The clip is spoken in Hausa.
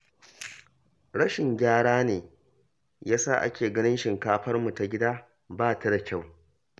Rashin gyara ne ya sa ake ganin shinkafarmu ta gida ba ta da kyau